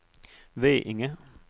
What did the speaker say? Veinge